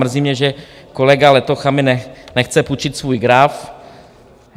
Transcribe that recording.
Mrzí mě, že kolega Letocha mi nechce půjčit svůj graf.